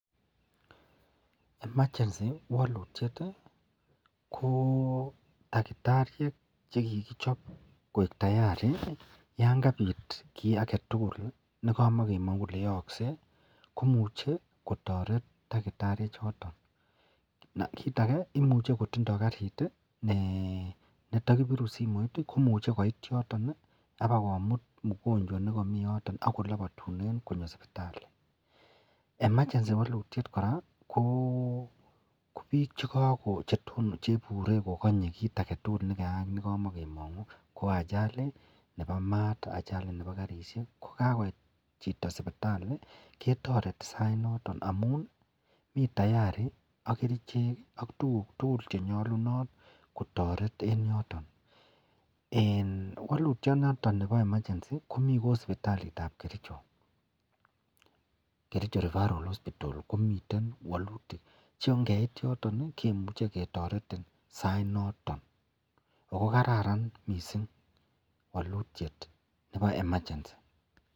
emergency walutiet kotakitariek chekikichoo koik tayari yangabit kit agetugul nekamagemangu Kole yaakse komuch kotaret takitariek choton kitakee koimuche kotindo garitnetakibiru simoit koimuche koit yoton akobakomit mugonjwa nekamii yoton akolabatunen konyo sibitali emergency walutietkoraa kobik chebure kolanye kit agetugul nekayaak nekamagemangu ko Ajali, Ajali Nebo mat ,Ajali Nebo karishek kokakobit Chito sibitali ketareti sait noton amun mitayari ak kerchek ak tuguk tugul chenyalunot kotaret en yoton en walutiet noton Nebo emergency Komi Kou sibitalit ab Kericho referral hospital komiten walutiet kongeit yoton kemuche ketaretin sai noton akokararan mising walutiet noton Nebo emergency.